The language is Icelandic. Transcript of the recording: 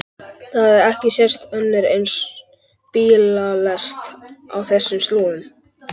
Það hafði ekki sést önnur eins bílalest á þessum slóðum.